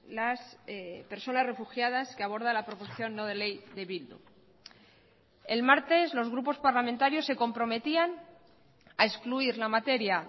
las personas refugiadas que aborda la proposición no de ley de bildu el martes los grupos parlamentarios se comprometían a excluir la materia